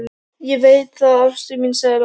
Ég veit það, ástin mín, sagði Lóa.